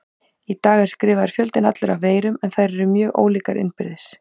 Í dag er skrifaður fjöldinn allur af veirum en þær eru mjög ólíkar innbyrðis.